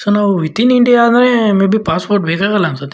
So within India ಆದ್ರೆ maybe passport ಬೇಕಾಗಲ್ಲ ಅನ್ಸತ್ತೆ.